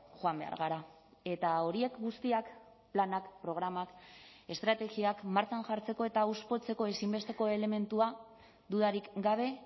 joan behar gara eta horiek guztiak planak programak estrategiak martxan jartzeko eta hauspotzeko ezinbesteko elementua dudarik gabe